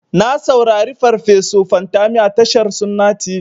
Na saurari farfeso Fantami a tashar sunna tv.